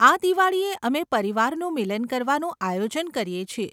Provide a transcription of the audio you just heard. આ દિવાળીએ અમે પરિવારનું મિલન કરવાનું આયોજન કરીએ છીએ.